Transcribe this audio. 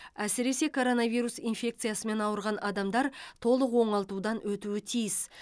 әсіресе коронавирус инфекциясымен ауырған адамдар толық оңалтудан өтуі тиіс